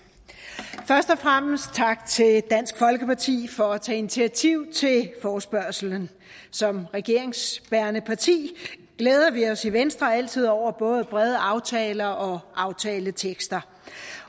først og fremmest tak til dansk folkeparti for at tage initiativ til forespørgslen som regeringsbærende parti glæder vi os i venstre altid over både brede aftaler og aftaletekster